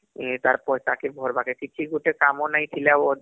ତାର ପଇସା କେ ଭରବାକେ କିଛି ଗୁଟେ କାମ ନାଇଁ ଥିଲେ